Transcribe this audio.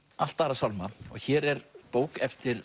allt aðra sálma hér er bók eftir